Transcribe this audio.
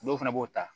Dɔw fana b'o ta